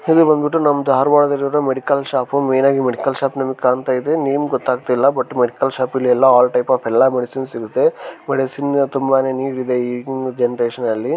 ಇದು ಬಂದುಬಿಟ್ಟು ನಮ್ಮ ದಾರವಾಡದಲ್ಲಿ ಇರೋ ಮೆಡಿಕಲ್ ಶಾಪ್ ಮೈನ್ ಹಾಗಿ ಮೆಡಿಕಲ್ ಶಾಪ್ ನಮಗೆ ಕಣ್ತಾ ಇದೆ ನೇಮ್ ಗೊತ್ತು ಆಗುತ್ತಾ ಇಲ್ಲ ಬಟ್ ಮೆಡಿಕಲ್ ಶಾಪ್ ಗಳು ಎಲ್ಲಾ ಆಲ್ ಟೈಪ್ ಮೇಡಿಸಿನ್ಸ್ ಸಿಗುತ್ತೆ ಮೇಡಿಸಿನ್ಸ್ ತುಂಬಾನೇ ನೀಡ್ ಇದೆ ಈ ಜನರೇಷನ್ ಅಲ್ಲಿ